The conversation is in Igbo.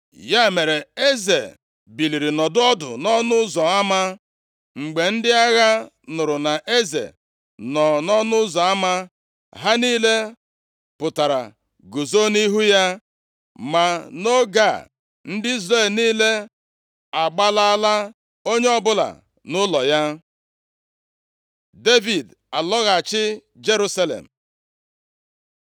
Ya mere, eze biliri nọdụ ọdụ nʼọnụ ụzọ ama. Mgbe ndị agha nụrụ na eze nọ nʼọnụ ụzọ ama, ha niile pụtara guzo nʼihu ya. Ma nʼoge a, ndị Izrel niile agbalaala, onye ọbụla nʼụlọ ya. Devid alọghachi Jerusalem